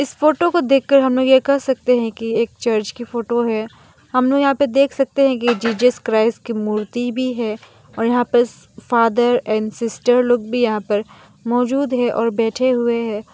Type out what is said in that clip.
इस फोटो को देखकर हम लोग यह कह सकते हैं कि एक चर्च की फोटो है हमनो यहां पर देख सकते हैं कि जीजस क्राइस की मूर्ति भी है और यहां पर फादर एंड सिस्टर लोग भी यहां पर मौजूद है और बैठे हुए हैं।